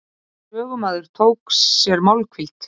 Sögumaður tók sér málhvíld.